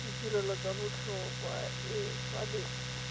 ditirelo tsa botlhokwa e tshwanetse